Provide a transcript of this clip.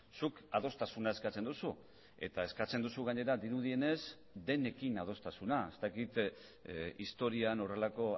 zuk adostasuna eskatzen duzu eta eskatzen duzu gainera dirudienez denekin adostasuna ez dakit historian horrelako